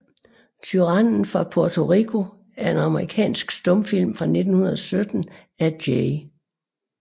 Tyrannen fra Porto Rico er en amerikansk stumfilm fra 1917 af J